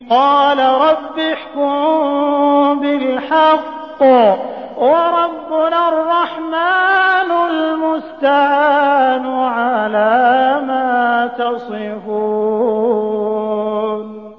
قَالَ رَبِّ احْكُم بِالْحَقِّ ۗ وَرَبُّنَا الرَّحْمَٰنُ الْمُسْتَعَانُ عَلَىٰ مَا تَصِفُونَ